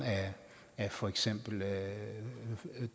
af for eksempel